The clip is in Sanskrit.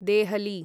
देहली